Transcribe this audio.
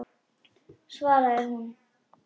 svaraði hún.